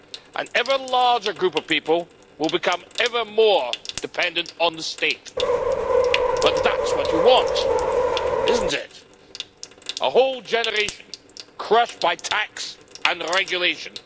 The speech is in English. An ever larger group of people will become ever more dependent on the state but that's what you want, isn't it? A whole generation crushed by tax and regulation.